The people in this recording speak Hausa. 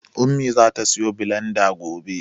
Ummi zata siyo bilanda gobe.